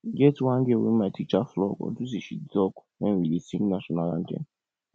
e get one girl wey my teacher flog unto say she dey talk wen we dey sing national anthem